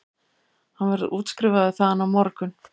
Hann verður útskrifaður þaðan á morgun